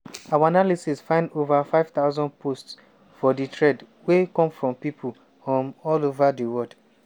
our analysis find ova 5000 posts for di thread wey come from pipo um all ova di wold.